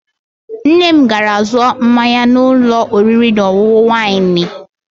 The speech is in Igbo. Nne m gara zụọ mmanya na ụlọ oriri na ọṅụṅụ waịnị.